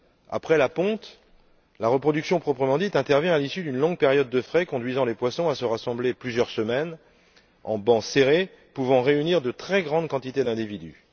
Après la ponte, la reproduction proprement dite intervient à l'issue d'une longue période de frai, qui conduit les poissons à se rassembler pendant plusieurs semaines, en bancs serrés, pouvant réunir de très grandes quantités d'individus.